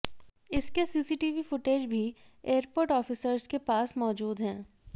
इसके CCTV footage भी airport officers के पास मौजूद हैं